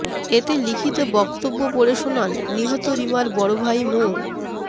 এতে লিখিত বক্তব্য পড়ে শোনান নিহত রিমার বড় ভাই মো